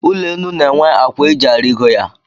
Ụlọenu na-enwe akwa e ji arigo ya